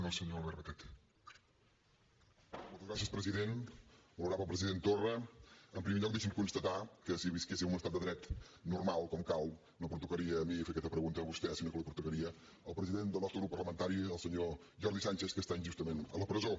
honorable president torra en primer lloc deixi’m constatar que si visquéssim en un estat de dret normal com cal no pertocaria ni fer aquesta pregunta a vostè sinó que li pertocaria al president del nostre grup parlamentari al senyor jordi sànchez que està injustament a la presó